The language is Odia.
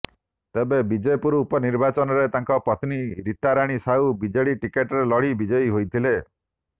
ତେବେ ବିଜେପୁର ଉପନିର୍ବାଚନରେ ତାଙ୍କର ପତ୍ନୀ ରୀତାରାଣୀ ସାହୁ ବିଜେଡି ଟିକେଟରେ ଲଢ଼ି ବିଜୟୀ ହୋଇଥିଲେ